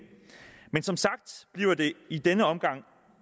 men som sagt bliver det i denne omgang